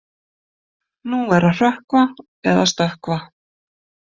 Nú er að hrökkva eða stökkva.